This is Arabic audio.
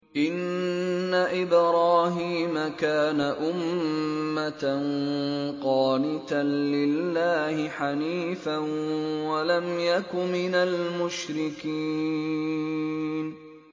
إِنَّ إِبْرَاهِيمَ كَانَ أُمَّةً قَانِتًا لِّلَّهِ حَنِيفًا وَلَمْ يَكُ مِنَ الْمُشْرِكِينَ